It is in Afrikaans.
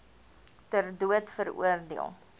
ter dood veroordeel